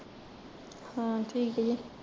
ਹਾਂ ਠੀਕ ਜੇ